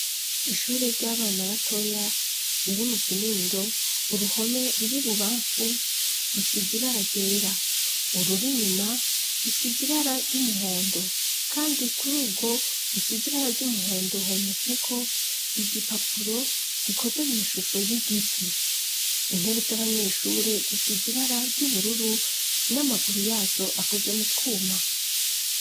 Ishure ry'abana batoya riri mu kinindo, uruhome ruri ibubamfu rusize ibara ryera. Ururi inyuma rusize ibara ry'umuhondo kandi kururwo rusize ibara ry'umuhondo hometseko igipapuro gikoze mw'ishusho y'igiti. Intebe z'abanyeshure zisize ibara ry'ubururu n'amaguru yazo akoze mu twuma.